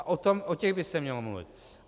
A o těch by se mělo mluvit.